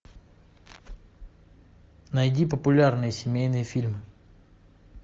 найди популярные семейные фильмы